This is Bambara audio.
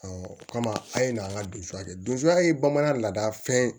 o kama an ye na an ka don sa de don a ye bamanan lada fɛn ye